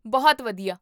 ਬਹੁਤ ਵਧੀਆ!